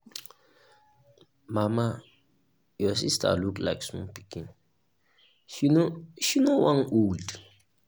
mama your sister look like small pikin she no she no wan old.